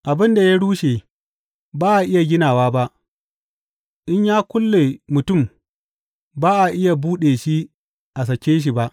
Abin da ya rushe ba a iya ginawa ba; in ya kulle mutum ba a iya buɗe shi a sake shi ba.